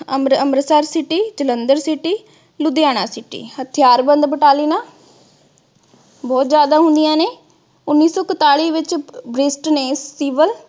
Amritsar city, Jalandhar city, Ludhiana city । ਹਥਿਆਰਬੰਦ ਬਟਾਲਣਾ ਬਹੁਤ ਜਿਆਦਾ ਹੁੰਦੀਆਂ ਨੇ। ਉਨੀ ਸੌ ਇਕਤਾਲੀ ਵਿਚ british ਨੇ